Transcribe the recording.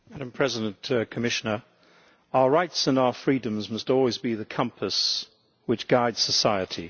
Madam President, Commissioner, our rights and our freedoms must always be the compass which guide society.